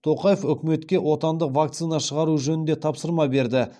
тоқаев үкіметке отандық вакцина шығару жөнінде тапсырма берді